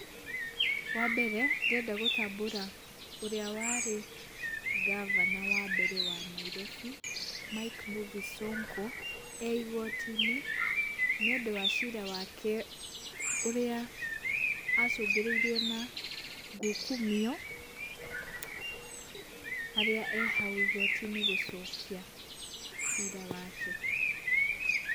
Wambere ndĩrenda gũtambũra ũrĩa warĩ ngavana wa mbere wa Nairobi Mike Mbuvi 'Sonko' eĩgotinĩ nĩũndũ wa ciira wake ũrĩa acungĩrĩrwo na gukumioharĩa eeh hau igotinĩ gũcokia ciira wake.